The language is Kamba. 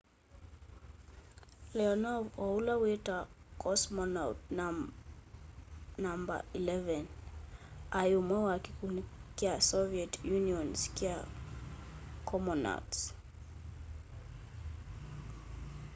leonov o ũla witawa cosmonaũt no 11 aĩ ũmwe wa kĩkũndĩ kya soviet unioon's kya comonauts